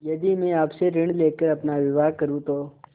यदि मैं आपसे ऋण ले कर अपना विवाह करुँ तो